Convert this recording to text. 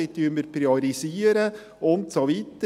Wie priorisieren wir? – Und so weiter.